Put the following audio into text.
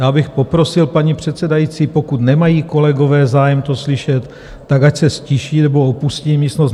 Já bych poprosil paní předsedající, pokud nemají kolegové zájem to slyšet, tak ať se ztiší nebo opustí místnost.